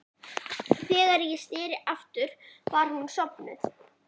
Þegar ég sneri aftur var hún sofnuð.